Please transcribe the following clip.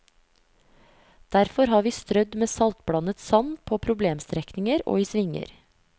Derfor har vi strødd med saltblandet sand på problemstrekninger og i svinger.